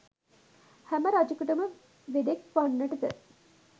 හැම රජකුටම වෙදෙක් වන්නට ද